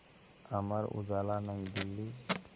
Amar Ujala New Delhi